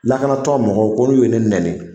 Lakanatɔn mɔgɔw ko n'u ye ne nɛni